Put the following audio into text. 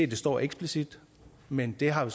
det står eksplicit men det har jo